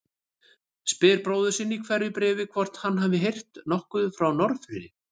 Spyr bróður sinn í hverju bréfi hvort hann hafi heyrt nokkuð frá Norðfirði.